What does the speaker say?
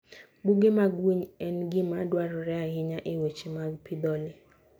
Buge mag winy en gima dwarore ahinya e weche mag pidho le.